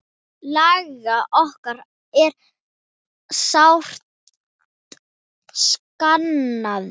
Lalla okkar er sárt saknað.